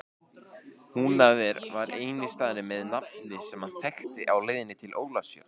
Húnaver var eini staðurinn með nafni sem hann þekkti á leiðinni til Ólafsfjarðar.